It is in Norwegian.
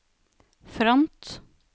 front